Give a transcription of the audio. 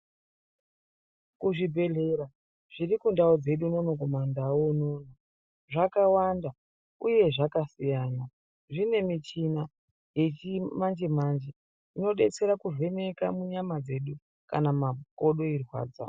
Zvibhedhlera zviri kundau unono kumandau zvakawanda uye zvakasiyana zvine muchina wechinmanje manje unodetsera kuvheneka munyama dzedu kana makodo achirwadza.